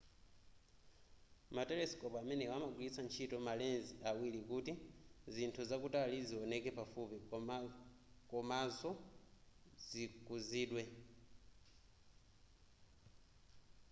ma telescope amenewa amagwilitsa ntchito ma lens awiri kuti zinthu zakutali zioneke pafupi komanzo zikuzidwe